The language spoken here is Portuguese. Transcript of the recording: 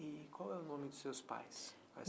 E qual é o nome dos seus pais?